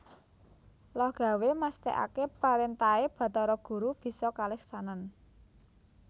Lohgawé mestèkaké parentahé Batara Guru bisa kaleksanan